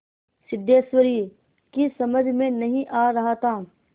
सिद्धेश्वरी की समझ में नहीं आ रहा था